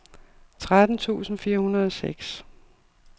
tretten tusind fire hundrede og seks